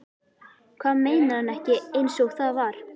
Hvað meinar hann ekki einsog það var?